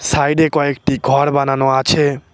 সাইডে কয়েকটি ঘর বানানো আছে।